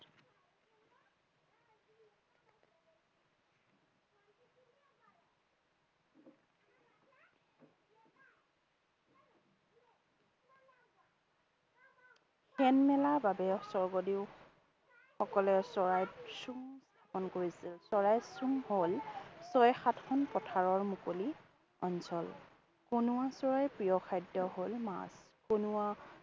সেন মেলা বাবেও স্বৰ্গদেউ সকলে চৰাইক চোং কৰিছিল চৰাইৰ চোং হল ছয় সাতখন পথাৰৰ মুকলি অঞ্চল। কনুৱা চৰাইৰ প্ৰিয় খাদ্য হল মাছ। কনুৱা